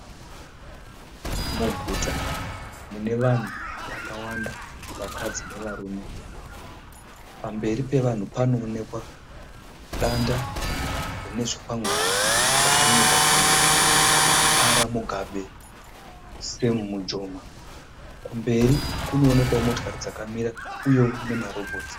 Muguta mune vanhu vakawanda vakadzi nevarume. Pamberi pevanhu panoonekwa danda rine zvikwangwani zvakanyorwa kunzi "R. Mugabe Sam Mujoma" kumberi kunoonekwao motokari dzakamira uyeo ma robhotsi.